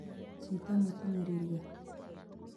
chito netinye rirkee